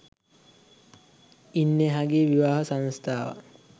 ඉන් එහා ගිය විවාහ සංස්ථාවක්